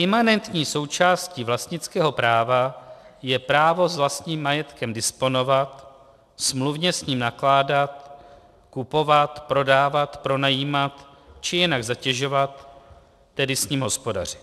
Imanentní součástí vlastnického práva je právo s vlastním majetkem disponovat, smluvně s ním nakládat, kupovat, prodávat, pronajímat či jinak zatěžovat, tedy s ním hospodařit.